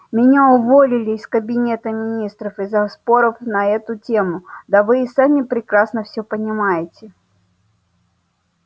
меня уволили из кабинета министров из-за споров на эту тему да вы и сами прекрасно все понимаете